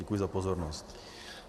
Děkuji za pozornost.